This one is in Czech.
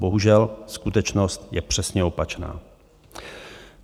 Bohužel skutečnost je přesně opačná.